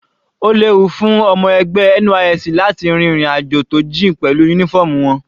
Ó léwu fún ọmọ ẹgbẹ́ NYSC láti rin ìrìn àjò tó jìn pẹ̀lú uniform wọn.